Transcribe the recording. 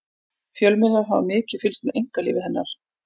fjölmiðlar hafa mikið fylgst með einkalífi hennar